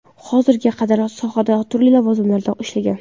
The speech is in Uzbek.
Hozirga qadar sohada turli lavozimlarida ishlagan.